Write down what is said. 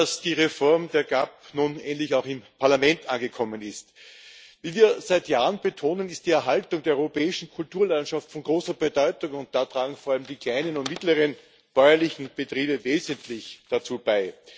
Erfreulich, dass die Reform der GAP nun endlich auch im Parlament angekommen ist. Wie wir seit Jahren betonen, ist die Erhaltung der europäischen Kulturlandschaft von großer Bedeutung, und dazu tragen vor allem die kleinen und mittleren bäuerlichen Betriebe wesentlich bei.